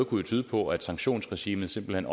kunne tyde på at sanktionsregimet simpelt hen